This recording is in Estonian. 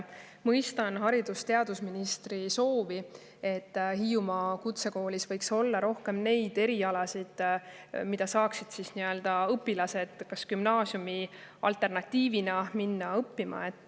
Ma mõistan haridus- ja teadusministri soovi, et Hiiumaa kutsekoolis võiks olla rohkem neid erialasid, mida saaksid õpilased ka gümnaasiumi alternatiivina õppima minna.